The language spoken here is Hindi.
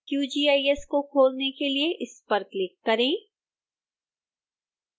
qgis को खोलने के लिए इस पर क्लिक करें